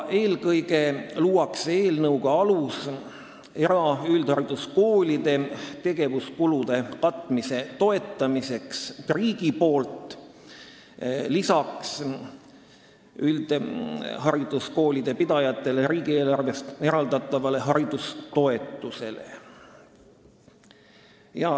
Eelkõige luuakse eelnõuga alus eraüldhariduskoolide tegevuskulude katmise toetamiseks riigi poolt lisaks üldhariduskoolide pidajatele riigieelarvest eraldatavale haridustoetusele.